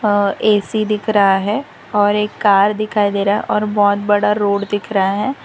अह A C दिख रहा है और एक कार दिखाई दे रहा है और बहुत बड़ा रोड दिख रहा है।